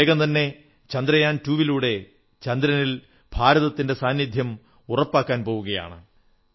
നാം വേഗം തന്നെ ചന്ദ്രയാൻ രണ്ടിലൂടെ ചന്ദ്രനിൽ ഭാരതത്തിന്റെ സാന്നിധ്യം ഉറപ്പിക്കാൻപോകയാണ്